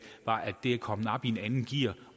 var at det er kommet op i et andet gear